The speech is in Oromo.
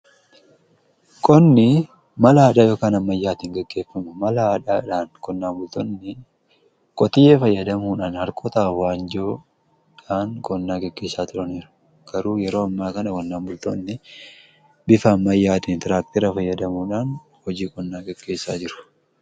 Qonni mala aadaa yookiin kan amayyaatiin geggeeffama. mala aadaadhaan qonnaan bultoonni qotiyyoo fayyadamuudhaan harkota waanjoodhaan qonnaa geggeessaa turaniiru. garuu yeroo ammaa kana qonnaan bultoonni bifa ammayyaatiin tiraaktira fayyadamuudhaan hojii qonnaa geggeessaa jiru.